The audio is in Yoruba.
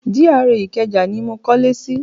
GRA Ìkẹjà ni mo kọ́lé sí.